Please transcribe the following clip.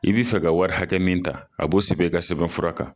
I bi fɛ ka wari hakɛ min ta, a b'o sɛbɛn i ka sɛbɛn fura kan.